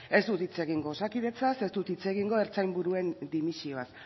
ez dut hitz egingo osakidetzaz ez dut hitz egingo ertzain buruen dimisioaz